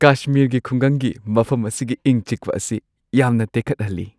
ꯀꯁꯃꯤꯔꯒꯤ ꯈꯨꯡꯒꯪꯒꯤ ꯃꯐꯝ ꯑꯁꯤꯒꯤ ꯏꯪ-ꯆꯤꯛꯄ ꯑꯁꯤ ꯌꯥꯝꯅ ꯇꯦꯛꯈꯠꯍꯜꯂꯤ꯫